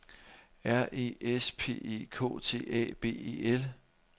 R E S P E K T A B E L